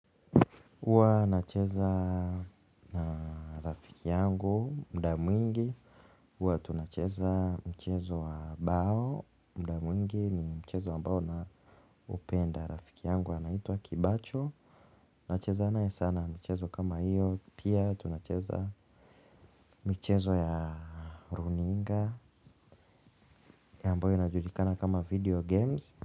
Huwa nacheza na rafiki yangu muda mwingi huwa tunacheza mchezo wa bao muda mwingi ni mchezo ambao naupenda rafiki yangu anaitwa kibacho nacheza naye sana michezo kama hiyo pia tunacheza michezo ya runinga ile ambayo inajulikana kama video games.